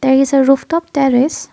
these is a rooftop terrace.